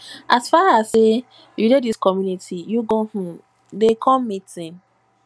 as far as sey you dey dis community you go um dey come meeting